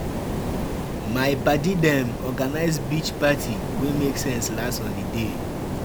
My paddy dem organise beach party wey make sense last holiday.